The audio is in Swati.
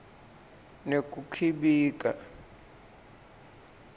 nekukhibika